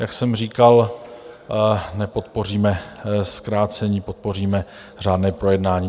Jak jsem říkal, nepodpoříme zkrácení, podpoříme řádné projednání.